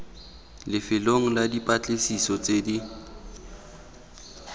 lefelong la dipatlisiso tse di